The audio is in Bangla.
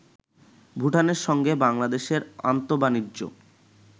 ভুটানের সঙ্গে বাংলাদেশের আন্তঃবাণিজ্য